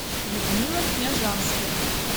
людмила княжанская